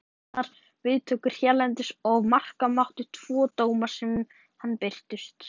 Fékk hún blendnar viðtökur hérlendis ef marka mátti tvo dóma sem um hana birtust.